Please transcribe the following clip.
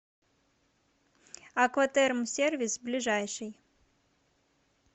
акватермсервис ближайший